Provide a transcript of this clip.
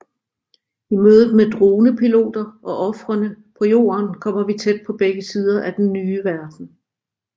I mødet med dronepiloter og ofrene på jorden kommer vi tæt på begge sider af den nye verden